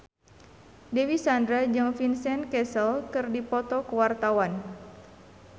Dewi Sandra jeung Vincent Cassel keur dipoto ku wartawan